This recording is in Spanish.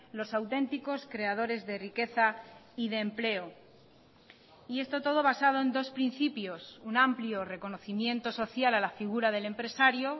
los auténticos creadores de riqueza y de empleo y esto todo basado en dos principios un amplio reconocimiento social a la figura del empresario